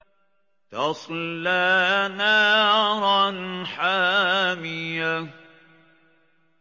تَصْلَىٰ نَارًا حَامِيَةً